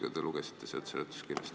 Te nagu lugesite seda seletuskirjast.